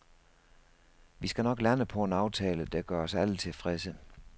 Vi skal nok lande på en aftale, der gør os alle tilfredse.